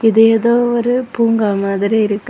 இது ஏதோ ஒரு பூங்கா மாதிரி இருக்கு.